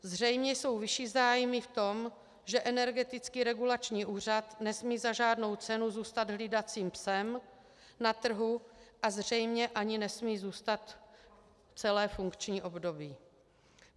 Zřejmě jsou vyšší zájmy v tom, že Energetický regulační úřad nesmí za žádnou cenu zůstat hlídacím psem na trhu a zřejmě ani nesmí zůstat celé funkční období.